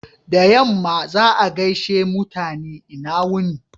Da yamma, za'a gaishe mutane "lna wuni."